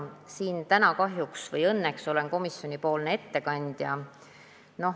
Ma olen siin täna – kahjuks või õnneks – komisjoni ettekandja.